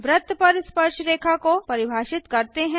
वृत्त पर स्पर्शरेखा को परिभाषित करते हैं